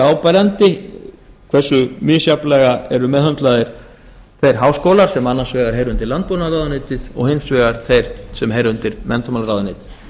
áberandi hversu misjafnlega eru meðhöndlaðir þeir háskólar sem annars vegar heyra undir landbúnaðarráðuneytið og hins vegar þeir sem heyra undir menntamálaráðuneyti